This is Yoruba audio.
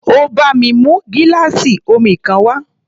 Ó bá mi mú gíláàsì omi kan wá.